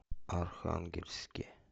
архангельске